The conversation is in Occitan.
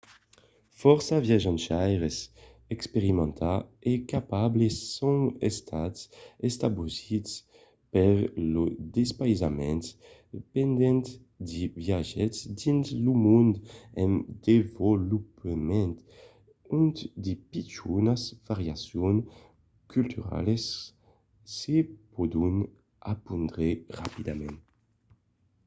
fòrça viatjaires experimentats e capables son estats estabosits per lo despaïsament pendent de viatges dins lo mond en desvolopament ont de pichonas variacions culturalas se pòdon apondre rapidament